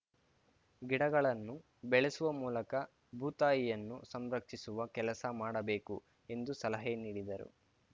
ಗಿಡಗಳನ್ನು ಬೆಳೆಸುವ ಮೂಲಕ ಭೂತಾಯಿಯನ್ನು ಸಂರಕ್ಷಿಸುವ ಕೆಲಸ ಮಾಡಬೇಕು ಎಂದು ಸಲಹೆ ನೀಡಿದರು